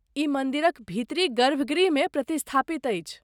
ई मन्दिरक भीतरी गर्भगृहमे प्रतिस्थापित अछि।